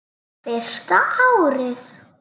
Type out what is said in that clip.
Fyrsta árið.